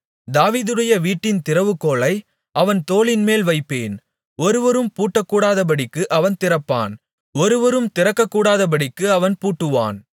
தாவீதுடைய வீட்டின் திறவுகோலை அவன் தோளின்மேல் வைப்பேன் ஒருவரும் பூட்டக்கூடாதபடிக்கு அவன் திறப்பான் ஒருவரும் திறக்கக்கூடாதபடிக்கு அவன் பூட்டுவான்